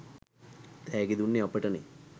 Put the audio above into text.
තෑගි දුන්නෙ අපටනේ